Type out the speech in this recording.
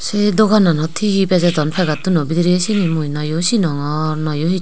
sei dogananot hihi bejodon pakettuno bidrey siyeni mui nayo sinongor nayo hiso.